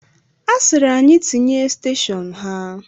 A sịrị anyị tinye steshọnu ha.